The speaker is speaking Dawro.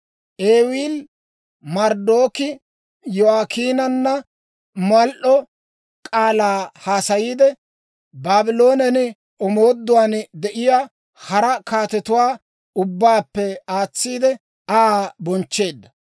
Ewiili-Marodaaki Yo'akiinaanna mal"o k'aalaa haasayiide, Baabloonen omooduwaan de'iyaa hara kaatetuwaa ubbaappe aatsiide, Aa bonchcheedda.